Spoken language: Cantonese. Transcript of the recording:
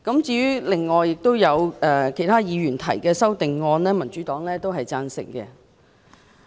至於其他議員提出的修正案，民主黨都是贊同的。